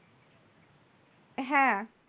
হ্যাঁ,